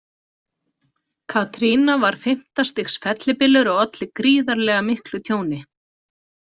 Katrina var fimmta stigs fellibylur og olli gríðarlega miklu tjóni.